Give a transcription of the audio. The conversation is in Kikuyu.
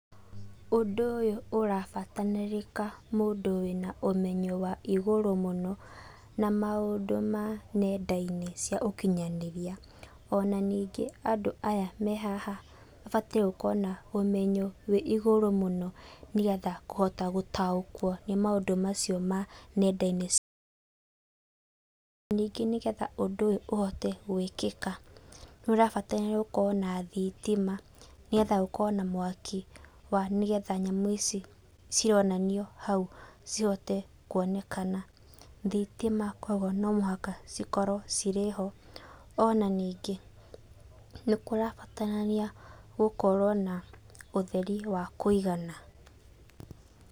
Ũndũ ũyũ ũrabatanarĩkana mũndũ wĩna ũmenyo wa igũrũ mũno na maũndũ ma nenda-inĩ cia ũkinyanĩria. Ona nĩngĩ andũ aya mehaha mabatiĩ gũkorwo na ũmenyo wĩ igũrũ mũno nĩgetha kũhota gũtaũkwo nĩ maũndũ macio ma nenda-inĩ cia ũkinyanĩria. Ningĩ nĩgetha kũhota gwĩkĩka, nĩ ũrabatara gũkorwo na thitima, nĩgetha gũkorwo na mwaki, nĩgetha nyamũ ici cironanio hau cihote kuonekana. Thitima nomũhaka cikorwo cirĩ-ho, ona nĩngĩ, nĩ kũrabatarania gũkorwo na ũtheri wa kũigana.